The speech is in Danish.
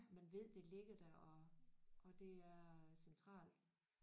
Man ved det ligger der og og det er centralt